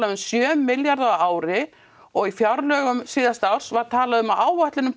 um sjö milljarða á ári og í fjárlögum síðasta árs var talað um áætlun upp á